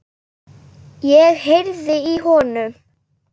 Ég heyrði í honum!